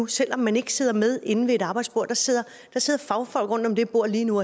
selv om man ikke sidder med inde ved et arbejdsbord der sidder fagfolk rundt om det bord lige nu